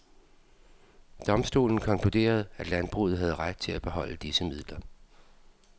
Domstolen konkluderede at landbruget havde ret til at beholde disse midler.